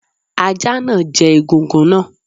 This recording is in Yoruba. Ajá náà jẹ egungun náà.